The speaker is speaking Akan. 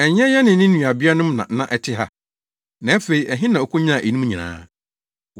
Ɛnyɛ yɛne ne nuabeanom na ɛte ha? Na afei ɛhe na okonyaa eyinom nyinaa yi?”